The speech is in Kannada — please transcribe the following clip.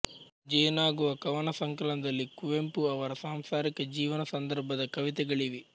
ಜೇನಾಗುವಾ ಕವನಸಂಕಲನದಲ್ಲಿ ಕುವೆಂಪು ಅವರ ಸಾಂಸಾರಿಕ ಜೀವನ ಸಂದರ್ಭದ ಕವಿತೆಗಳಿವೆ